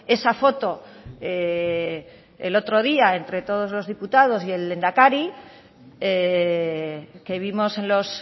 esa foto el otro día entre todos los diputados y el lehendakari que vimos en los